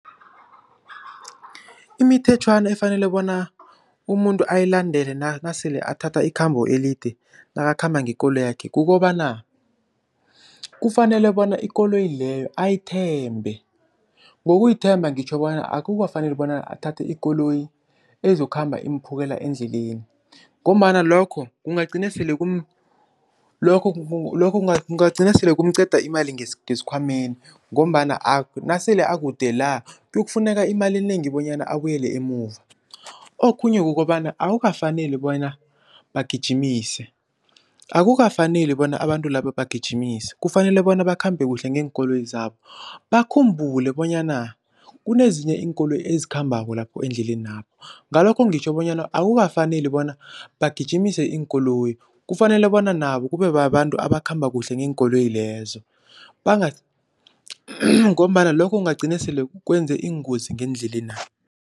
Imithetjhwana efanele bona umuntu ayilandele nasele athatha ikhambo elide nakakhamba ngekoloyakhe kukobana, kufanele bona ikoloyi leyo ayithembe. Ngokuyithemba ngitjho bona akukafaneli bona athathe ikoloyi ezokhamba imphukela endleleni ngombana lokho kungagcina sele lokho kungagcina sele kumqeda imali ngesikhwameni ngombana nasele akude la kuyokufuneka imali enengi bonyana abuyele emuva. Okhunye kukobana akukafaneli bona bagijimise, akukafaneli bona abantu laba bagijimise kufanele bona bakhambe kuhle ngeenkoloyi zabo bakhumbule bonyana kunezinye iinkoloyi ezikhambako lapho endleleni lapho, ngalokho ngitjho bonyana akukafaneli bona bagijimise iinkoloyi kufanele bona nabo kube babantu abakhamba kuhle ngeenkoloyi lezo ngombana lokho kungagcina sele kwenze iingozi ngeendlelena.